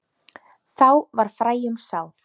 Þá var fræjum sáð.